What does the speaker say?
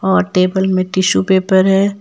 और टेबल में tissue paper है।